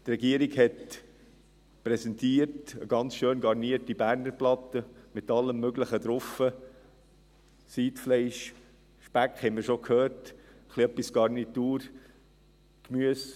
Die Regierung hat eine sehr schön garnierte Berner Platte präsentiert, mit Siedfleisch, Speck, wie wir schon gehört haben, etwas Garnitur, Gemüse;